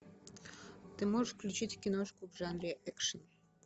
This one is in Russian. ты можешь включить киношку в жанре экшен